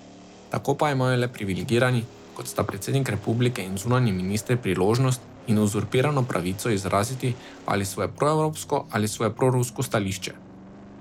Tako pa imajo le privilegirani, kot sta predsednik republike in zunanji minister priložnost in uzurpirano pravico, izraziti ali svoje pro evropsko, ali svoje prorusko stališče.